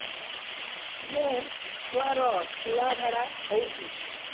ମୋ ଛୁଆର ସୁଳା ଝାଡ଼ା ହଉଚି